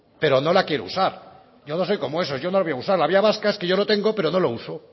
pero no la quiero usar yo no soy como esos yo no voy a usarla la vía vasca es que yo lo tengo pero no lo uso